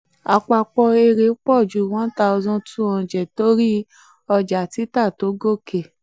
àpapọ̀ èrè pọ̀ ju one thousand two hundred torí ọjà títà tó gòkè.